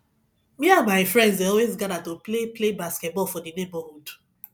me and my friends dey always gather to play play basketball for the neighborhood